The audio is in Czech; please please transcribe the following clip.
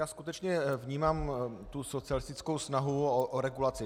Já skutečně vnímám tu socialistickou snahu o regulaci.